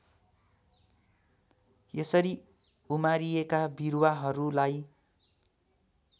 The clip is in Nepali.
यसरी उमारिएका बिरुवाहरूलाई